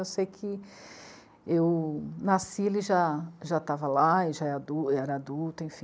Eu sei que eu nasci, ele já, já estava lá e já, era adulto, enfim.